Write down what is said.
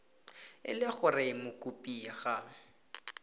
e le gore mokopi ga